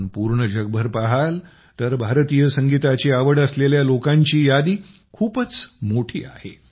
आपण पूर्ण जगभर पहाल तर भारतीय संगीताची आवड असलेल्या लोकांची यादी खूपच मोठी आहे